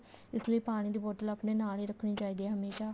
ਇਸ ਲਈ ਪਾਣੀ ਦੀ bottle ਆਪਣੇ ਨਾਲ ਹੀ ਰੱਖਣੀ ਚਾਹੀਦੀ ਹੈ ਹਮੇਸ਼ਾ